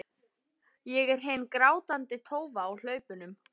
Ég er hin grátandi tófa á hlaupunum.